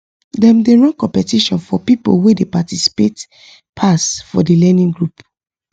dem dey run competition for people wey dey participate pass for the learning group